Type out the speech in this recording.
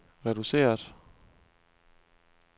reduceret